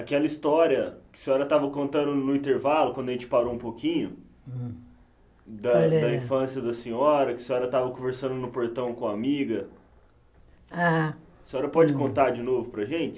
Aquela história que a senhora tava contando no intervalo, quando a gente parou um pouquinho, Hum Da da infância da senhora, que a senhora tava conversando no portão com a amiga, Ah A senhora pode contar de novo para a gente?